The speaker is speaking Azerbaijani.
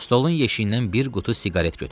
Stolun yeşiyindən bir qutu siqaret götürdü.